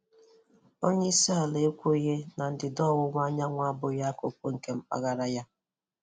Onye isi ala ekwughị na ndịda ọwụwa anyanwụ abụghị akụkụ nke mpaghara ya?